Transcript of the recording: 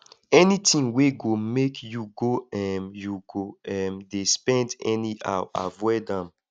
anytin wey go mek yu go um yu go um dey spend anyhow avoid am